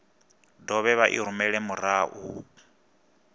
dovhe vha i rumele murahu